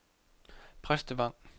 Præstevang